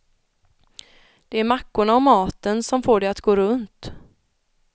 Det är mackorna och maten som får det att gå runt.